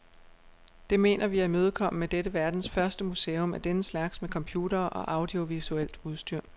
Det mener vi at imødekomme med dette verdens første museum af denne slags med computere og audiovisuelt udstyr.